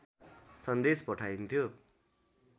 सन्देश पठाइन्थ्यो